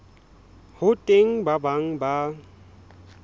ho teng ba bang ba